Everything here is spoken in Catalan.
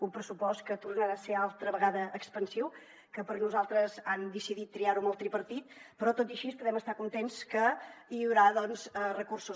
un pressupost que tornarà a ser altra vegada expansiu que per nosaltres han decidit triar ho amb el tripartit però tot i així podem estar contents que hi haurà recursos